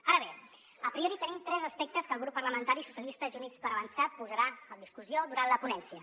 ara bé a priori tenim tres aspectes que el grup parlamentari socialistes i units per avançar posarà a discussió durant la ponència